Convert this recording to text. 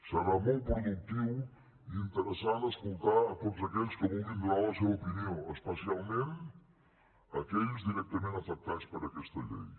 serà molt productiu i interessant escoltar tots aquells que vulguin donar la seva opinió especialment aquells directament afectats per aquesta llei